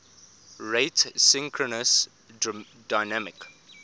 rate synchronous dynamic